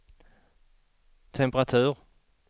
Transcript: temperatur